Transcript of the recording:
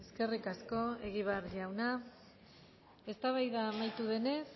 eskerrik asko egibar jauna eztabaida amaitu denez